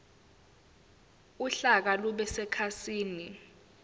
uhlaka lube sekhasini